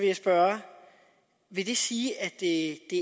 jeg spørge vil det sige at det